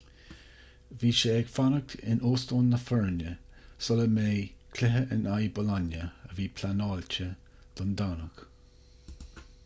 bhí sé ag fanacht in óstán na foirne sula mbeidh cluiche in aghaidh bolonia a bhí pleanáilte don domhnach